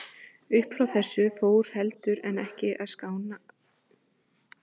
Uppfrá þessu fór heldur en ekki að kárna gamanið í Pólunum.